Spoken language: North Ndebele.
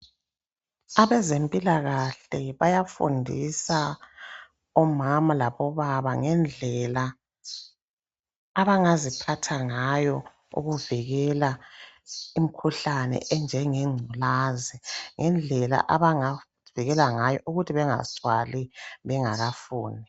Abezimpilakahle bayafundisa omama labo baba ngendlela abangaziphathangayo ukuvikela imkhuhlane enjenge ngculazi ngendlela abangavikela ngayo ukuthi bengazithwali bengakafuni .